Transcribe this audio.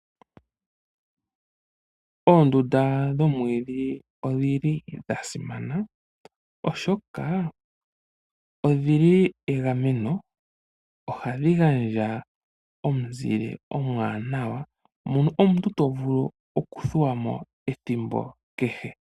Oondunda dhomwiidhi odhili dhasimana, oshoka odhili egameno. Ohadhi gandja omuzile omwaanawa mono omutu tovulu okuthuwapo ethimbo kehe.